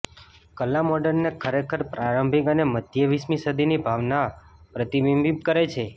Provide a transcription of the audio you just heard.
કલા મોડર્નને ખરેખર પ્રારંભિક અને મધ્ય વીસમી સદીની ભાવના પ્રતિબિંબિત કરે છે